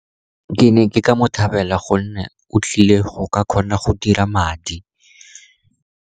Ke ne ke ka mo thabela, gonne o tlile go ka kgona go dira madi.